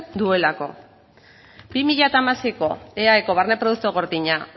duelako bi mila hamaseiko eaeko barne produktu gordina